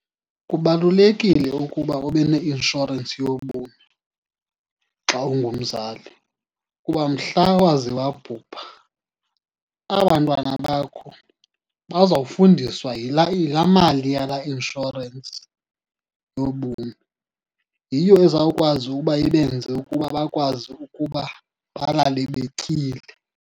Kubalulekile ukuba ube neinshorensi yobomi xa ungumzali, kuba mhla waze wabhubha aba bantwana bakho bazawufundiswa yilaa, yilaa mali yalaa inshorensi yobomi. Yiyo ezawukwazi uba ibenze ukuba bakwazi ukuba balale betyile.